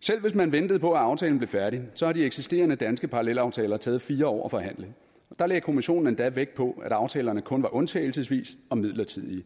selv hvis man ventede på at aftalen blev færdig så har de eksisterende danske parallelaftaler taget fire år at forhandle der lagde kommissionen endda vægt på at aftalerne kun var undtagelsesvise og midlertidige